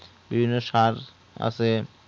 বিভিন্ন সার আছে